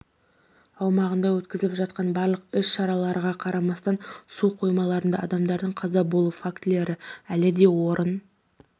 аумағында өткізіліп жатқан барлық іс-шараларға қарамастан су қоймаларында адамдардың қаза болуы фактілері әлі де орын